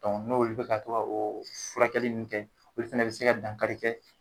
n' olu bika ka to ka o furakɛli nun kɛ olu fana bi se ka dankari kɛ